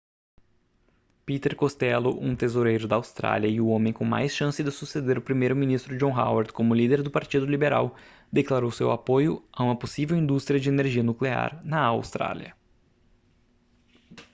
peter costello um tesoureiro da austrália e o homem com mais chance de suceder o primeiro-ministro john howard como líder do partido liberal declarou seu apoio a uma possível indústria de energia nuclear na austrália